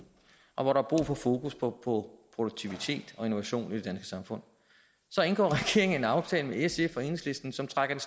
og hvor der er brug for fokus på på produktivitet og innovation i det samfund så indgår regeringen en aftale med sf og enhedslisten som trækker i